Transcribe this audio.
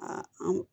Aa an